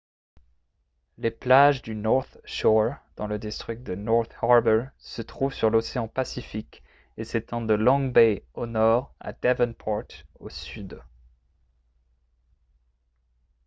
les plages du north shore dans le district de north harbour se trouvent sur l'océan pacifique et s'étendent de long bay au nord à devonport au sud